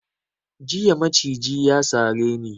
Jiya maciji ya sare ni.